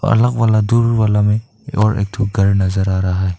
वाला दूर वाला में और एक ठो घर नजर आ रहा है।